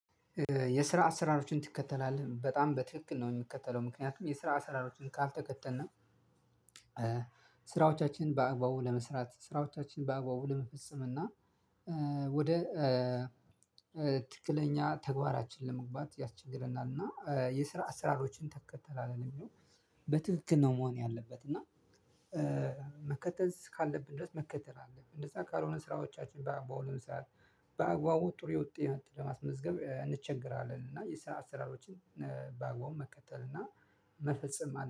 የስራ አሰራሮችን ትከተላለህ በጣም በትክክል ነው የምከተለው ምክንያቱም የስራ አሰራሮችን ካልተከተልን ስራዎቻችን በአግባቡ ለመስራት ስራዎቻችን በአግባቡ ለመፈጸም እና ወደ ትክክለኛ ተግባራችን ለመግባት ያስቸግረናል እና የስራ አሰራሮችን ትከተላለህ ነው ሚለው? ነው በትክክል ነው መሆን ያለበት እና መከተል እስካለብን ድረስ መከተል አለብን እንደዛ ካልሆነ ስራዎቻችን በአግባቡ ለመስራት በአግባቡ ጥሩ የውጤት ለማስመዝገብ እንቸገራለን። እና የስራ አሰራሮችን በአግባቡ መከተል እና መፈጸም